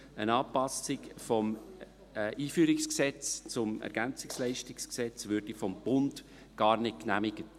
Eine Anpassung des EG ELG würde vom Bund gar nicht genehmigt.